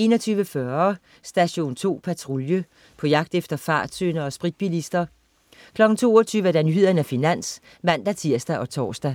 21.40 Station 2 Patrulje. På jagt efter fartsyndere og spritbilister 22.00 Nyhederne og Finans (man-tirs og tors) 22.20